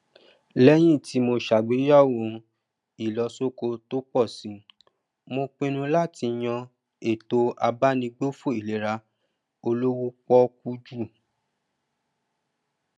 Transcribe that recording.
lẹyìn tí mó sàgbéyẹwò ìlọsókè tó pọ sí mó pínnú láti yan ètò abánigbófò ìlera olówó pọọkú jù